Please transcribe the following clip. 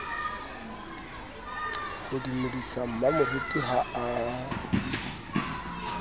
ho dumedisa mmamoruti ha a